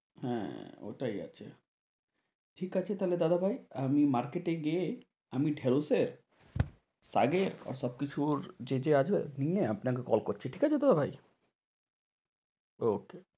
হ্যাঁ, ওটাই আছে ঠিকআছে তা হলে দাদাভাই আমি market এ গিয়ে আমি ঢেঁড়স এর শাকের আর সব কিছুর যা যা আছে সব কিছু নিয়ে আপনাকে call করছি ঠিক আছে দাদাভাই okey